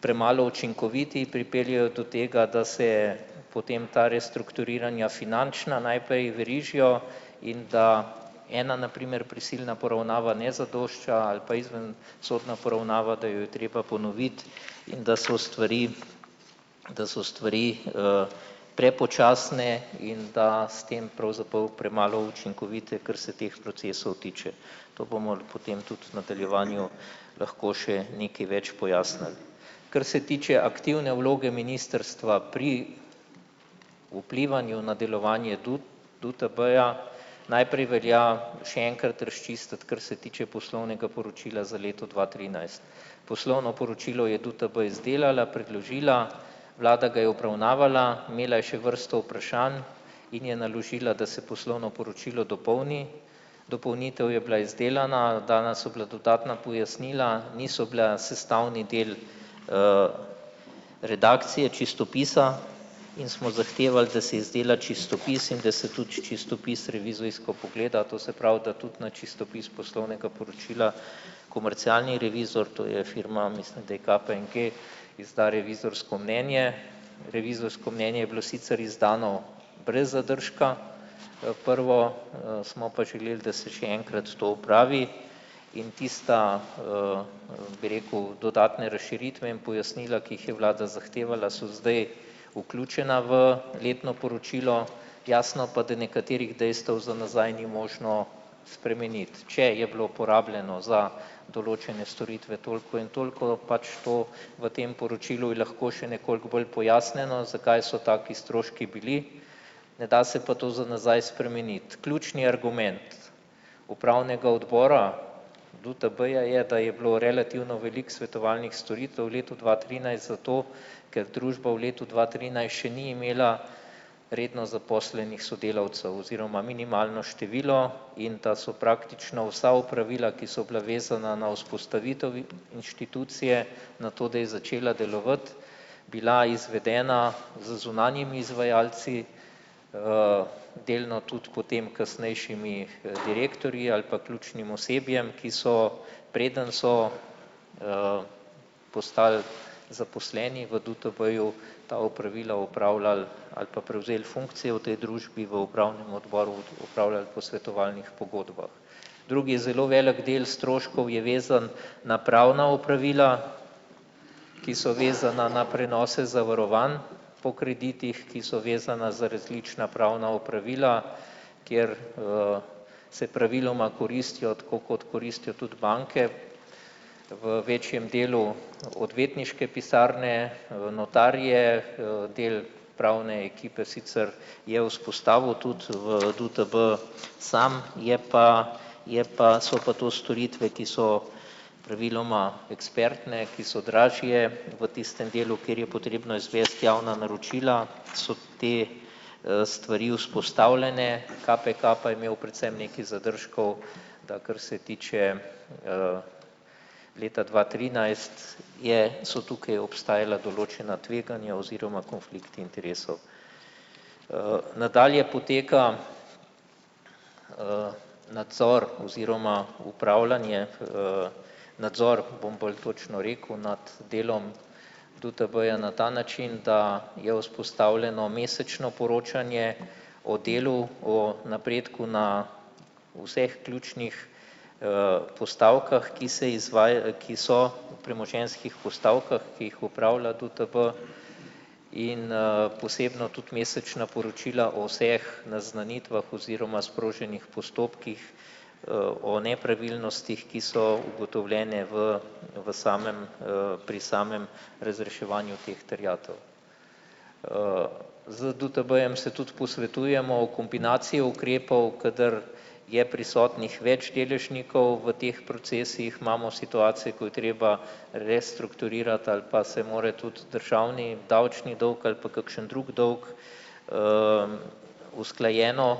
premalo učinkoviti, pripeljejo do tega, da se potem ta restrukturiranja finančna najprej verižijo in da ena na primer prisilna poravnava ne zadošča ali pa izven- sodna poravnava, da jo je treba ponoviti in da so stvari, da so stvari, prepočasne in da s tem pravzaprav premalo učinkovite, kar se teh procesov tiče. To bomo potem tudi nadaljevanju lahko še nekaj več pojasnili. Kar se tiče aktivne vloge ministrstva pri vplivanju na delovanje DUTB-ja najprej velja še enkrat razčistiti, kar se tiče poslovnega poročila za leto dva trinajst. Poslovno poročilo je DUTB izdelala, predložila, vlada ga je obravnavala, imela je še vrsto vprašanj in je naložila, da se poslovno poročilo dopolni. Dopolnitev je bila izdelana, dana so bila dodatna pojasnila, niso bila sestavni del, redakcije, čistopisa in smo zahtevali, da se izdela čistopis in da se tudi čistopis revizijsko pogleda, to se pravi, da tudi na čistopis poslovnega poročila komercialni revizor, to je firma mislim, da KPMG izda revizorko mnenje. Revizorsko mnenje je bilo sicer izdano brez zadržka, prvo, smo pa želeli, da se še enkrat to opravi in tista, bi rekel, dodatne razširitve in pojasnila, ki jih je vlada zahtevala, so zdaj vključena v letno poročilo, jasno pa, da nekaterih dejstev za nazaj ni možno spremeniti, če je bilo porabljeno za določene storitve toliko in toliko, pač to v tem poročilu je lahko še nekoliko bolj pojasnjeno, zakaj so taki stroški bili, ne da se pa to za nazaj spremeniti. Ključni argument upravnega odbora DUTB-ja je, da je bilo relativno veliko svetovalnih storitev v letu dva trinajst, zato ker družba v letu dva trinajst še ni imela redno zaposlenih sodelavcev oziroma minimalno število in ta so praktično vsa opravila, ki so bila vezana na vzpostavitev inštitucije, na to, da je začela delovati, bila izvedena z zunanjimi izvajalci, delno tudi potem kasnejšimi, direktorji ali pa ključnim osebjem, ki so, preden so, postali zaposleni v DUTB-ju, ta opravila opravljali ali pa prevzeli funkcije v tej družbi, v upravnem odboru opravljali po svetovalnih pogodbah. Drugi zelo velik del stroškov je vezan na pravna opravila, ki so vezana na prenose zavarovanj po kreditih, ki so vezana za različna pravna opravila, kjer, se praviloma koristijo, tako kot koristijo tudi banke. V večjem delu odvetniške pisarne, notarje, del pravne ekipe sicer je vzpostavil tudi v DUTB, samo je pa je pa so pa to storitve, ki so pravilom ekspertne, ki so dražje v tistem delu, kjer je potrebno izvesti javna naročila, so te, stvari vzpostavljene. KPK pa je imel predvsem nekaj zadržkov, da kar se tiče, leta dva trinajst, je so tukaj obstajala določena tveganja oziroma konflikti interesov. Nadalje poteka, nadzor oziroma upravljanje, nadzor, bom bolj točno rekel, nad delom DUTB-ja na ta način, da je vzpostavljeno mesečno poročanje o delu o napredku na vseh ključnih, postavkah, ki se ki so v premoženjskih postavkah, ki jih opravlja DUTB, in, posebno tudi mesečna poročila o vseh naznanitvah oziroma sproženih postopkih, o nepravilnostih, ki so ugotovljene v v samem, pri samem razreševanju teh terjatev. Z DUTB-jem se tudi posvetujemo o kombinaciji ukrepov, kadar je prisotnih več deležnikov, v teh procesih imamo situacije, ko je treba restrukturirati ali pa se mora tudi državni, davčni dovg ali pa kakšno drug dolg, usklajeno,